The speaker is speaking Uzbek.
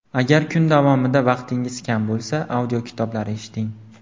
Agar kun davomida vaqtingiz kam bo‘lsa, audiokitoblar eshiting.